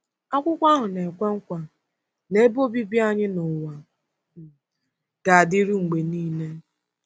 Akwụkwọ ahụ na-ekwe nkwa na ebe obibi anyị n’ụwa um ga-adịru mgbe niile.